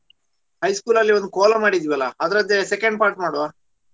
High school ಲ್ಲಿ ಒಂದ್ ಕೋಲಾ ಮಾಡಿದ್ವಿ ಅಲ್ಲಾ ಅದರದ್ದೇ second part ಮಾಡುವಾ?